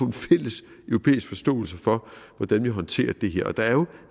en fælles europæisk forståelse for hvordan vi håndterer det her der er jo